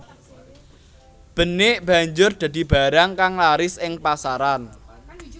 Benik banjur dadi barang kang laris ing pasaran